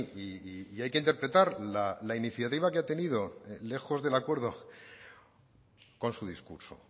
y hay que interpretar la iniciativa que ha tenido lejos del acuerdo con su discurso